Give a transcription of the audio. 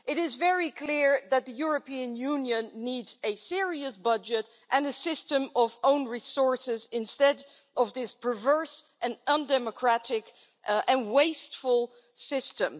It is very clear that the European Union needs a serious budget and a system of own resources instead of this perverse, undemocratic and wasteful system.